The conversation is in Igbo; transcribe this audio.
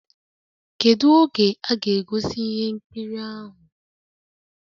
Kedu oge a ga-egosi ihe nkiri ahụ?